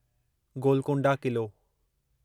Golconda Qila